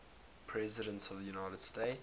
presidents of the united states